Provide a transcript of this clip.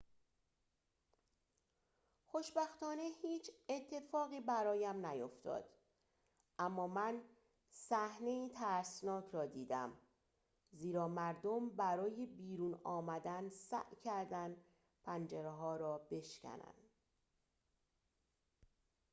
خوشبختانه هیچ اتفاقی برایم نیفتاد اما من صحنه‌ای ترسناک را دیدم زیرا مردم برای بیرون آمدن سعی کردند پنجره‌ها را بشکنند